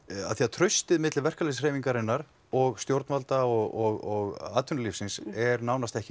traustið milli verkalýðshreyfingarinnar og stjórnvalda og atvinnulífsins er nánast ekki